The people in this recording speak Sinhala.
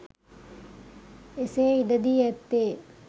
එසේ ඉඩ දී ඇත්තේ